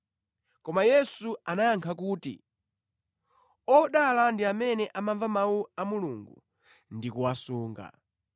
Koma Yesu anayankha kuti, “ Odala ndi amene amamva mawu a Mulungu ndi kuwasunga.”